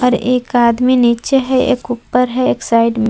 एक आदमी निचे है एक उपर है एक साइड में--